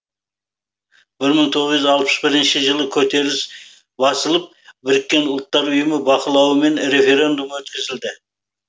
бір мың тоғыз жүз алпыс бірінші жылы көтеріліс басылып біріккен ұлттар ұйымы бақылауымен референдум өткізілді